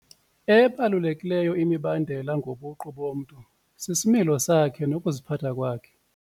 Ebalulekileyo imibandela ngobuqu bomntu sisimilo sakhe nokuziphatha kwakhe.